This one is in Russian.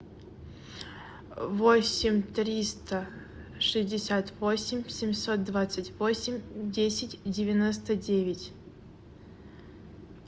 восемь триста шестьдесят восемь семьсот двадцать восемь десять девяносто девять